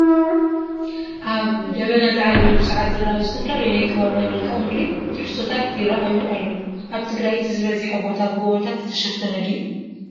ኣብ ደበና ዝዓለበሉ ሰዓት ዝራኣዩ ዝተፈላለዩ ናይ ከባቢና መልክኣ ምድሪ ትሕዝቶታት ይራኣዩ ኣለው፡፡ ኣብ ትግራይ እቲ ዝበዝሐ ቦታ ብጎቦታት ዝተሸፈነ ድዩ?